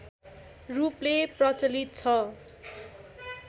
रूपले प्रचलित छ